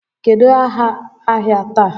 Kedụ áhà ahịa taa?